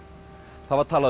það var talað um